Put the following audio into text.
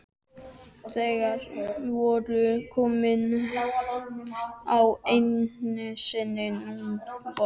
Þeir voru komnir á nesið sunnanvert.